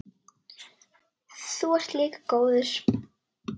Þú ert líka góður.